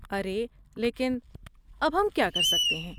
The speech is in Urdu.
ارے لیکن، اب ہم کیا کر سکتے ہیں؟